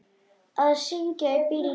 Að syngja í bílnum.